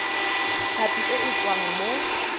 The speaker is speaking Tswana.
tlhapi e e tswang mo